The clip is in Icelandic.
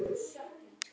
Hvar vinnur hann?